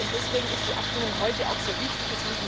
Deswegen ist die Abstimmung heute auch sehr wichtig.